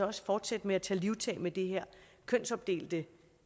også fortsætte med at tage livtag med det her kønsopdelte